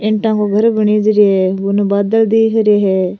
ईटा को घर बने जरी है उनने बादल दिख रे है।